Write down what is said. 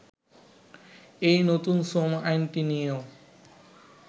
এই নতুন শ্রম আইনটি নিয়েও